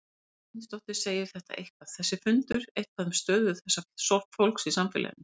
Sunna Sæmundsdóttir: Segir þetta eitthvað, þessi fundur eitthvað um stöðu þessa fólks í samfélaginu?